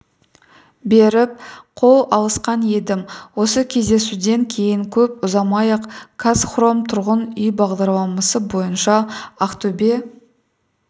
беріп қол алысқан едім осы кездесуден кейін көп ұзамай-ақ қазхром тұрғын үй бағдарламасы бойынша ақтөбе